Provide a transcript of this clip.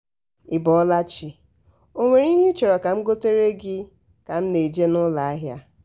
ị bọọla chi? o nwere ihe ị chọrọ ka m gotere gị ka m na-eje n'ụlọ ahịa?